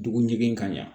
Dugu ɲigin ka ɲa